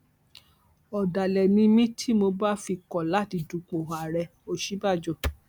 ọdàlẹ ni mí tí mo bá fi kọ láti dupò ààrẹòsínbàjò